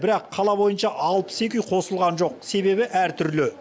бірақ қала бойынша алпыс екі үй қосылған жоқ себебі әр түрлі